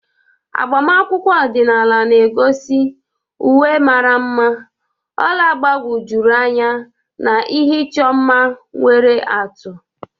Agbamakwụkwọ ọdịnala na-egosi uwe mara mma, ọla gbagwojuru anya na ihe ịchọ mma nwere atụ.